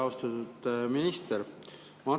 Austatud minister!